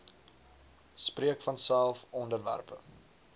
spreek vanself onderwerpe